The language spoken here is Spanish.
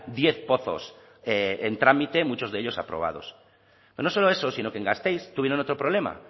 diez pozos en trámite muchos de ellos aprobados pero no solo eso sino que en gasteiz tuvieron otro problema